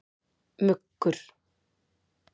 Muggur